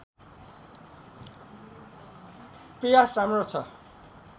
प्रयास राम्रो छ